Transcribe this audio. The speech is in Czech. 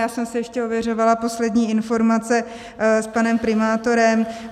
Já jsem si ještě ověřovala poslední informace s panem primátorem.